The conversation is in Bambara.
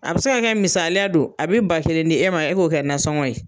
A be se ka kɛ misaliya don ,a be ba kelen di e ma e k'o kɛ nansɔngɔ ye